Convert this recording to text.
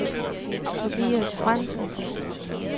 Tobias Frandsen